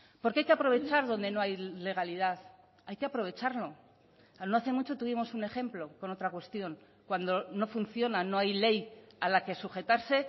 porque hay que aprovechar donde no hay legalidad hay que aprovecharlo no hace mucho tuvimos un ejemplo con otra cuestión cuando no funciona no hay ley a la que sujetarse